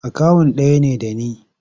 Akawun ɗaya ne da ni.